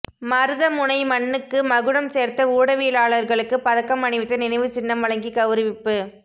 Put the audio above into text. மருதமுனை மண்ணுக்கு மகுடம் சேர்த்த ஊடவியலாளர்களுக்கு பதக்கம் அணிவித்து நினைவுச் சின்னம் வழங்கி கௌரவிப்பு